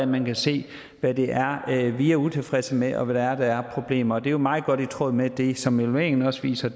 man kan se hvad det er vi er utilfredse med og hvad det er af problemer og det er meget godt i tråd med det som evalueringen også viser